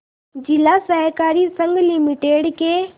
जिला सहकारी संघ लिमिटेड के